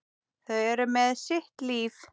Þau eru með sitt líf.